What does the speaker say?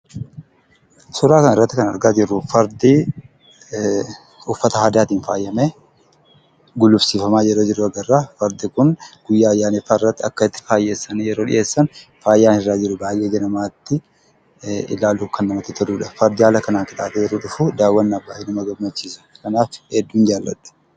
Suuraa kanarratti kan argaa jirru fardi uffata aadaatiin faayamee gulufsiifamaa yeroo jiru agarra. Fardi kun ayyaaneffannaarratti akka itti faayessan, faayaan irra jiru ilaaluuf kan namatti toludha. Fardi adiin haala kanaan faayamee yeroo dhufu baay'een jaalladha.